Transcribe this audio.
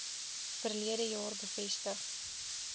verlede jaar bevestig